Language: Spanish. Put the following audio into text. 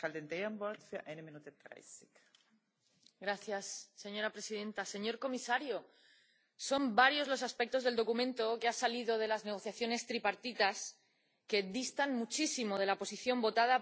Señora presidenta, señor comisario, son varios los aspectos del documento que ha salido de las negociaciones tripartitas que distan muchísimo de la posición votada por amplísima mayoría en esta Cámara el pasado mes de febrero.